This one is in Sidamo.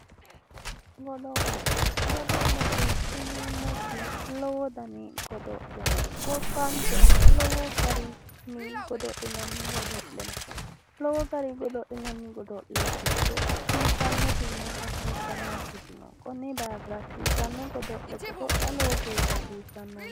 Godo'le godo'lete yineemoti lowo dani godo'le no gobbanikera lowo garinni godo'linanni godo'le no lowo garii godo'linanni godo'le giddo hasiisannotina hasiisannokiti no konni daafira hasiisano godo'le godo'la lowo geesha hasiisannoho